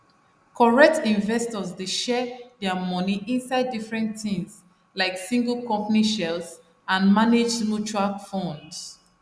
correct investors dey share dia money inside different tins like single company shares and managed mutual funds